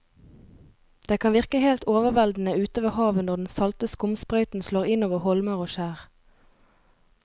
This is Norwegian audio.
Det kan virke helt overveldende ute ved havet når den salte skumsprøyten slår innover holmer og skjær.